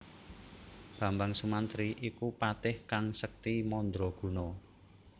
Bambang Sumantri iku patih kang sekti mandra guna